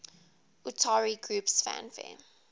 utari groups fanfare